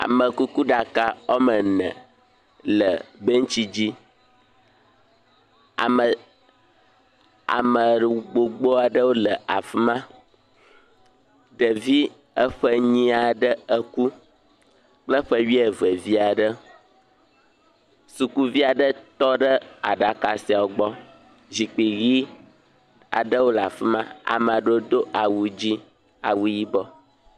Amekuɖaka woame ene le bentsi dzi. Ame, ame gbogbo aɖewo le fima. Ɖevi eƒe enyi aɖe kple ƒe wuieve ɖe. Sukuvi aɖe tɔ ɖe aɖa siawo gbɔ. Zikpui ʋi aɖewo le afima. Ame aɖewo do awu dzɛ, awu yibɔ.